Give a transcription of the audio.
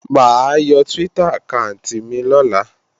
Mà á yọ Twitter àkáànti mi lọ́la